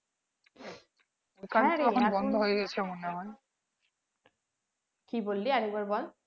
হ্যাঁ রে কি বললি আর একবার বল